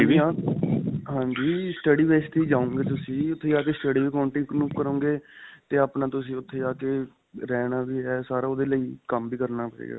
ਹਾਂਜੀ, ਹਾਂ, ਹਾਂਜੀ study base 'ਤੇ ਹੀ ਜਾਓਗੇ ਤੁਸੀਂ ਉੱਥੇ ਜਾ ਕੇ study ਵੀ continue ਕਰੋਗੇ ਤੇ ਆਪਣਾ ਤੁਸੀਂ ਉੱਥੇ ਜਾ ਕੇ ਰਹਿਣਾ ਵੀ ਹੈ ਸਾਰਾ ਓਹਦੇ ਲਈ ਕੰਮ ਵੀ ਕਰਨਾ ਪਏਗਾ.